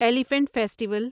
elephant festival